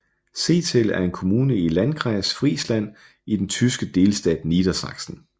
Zetel er en kommune i Landkreis Friesland i den tyske delstat Niedersachsen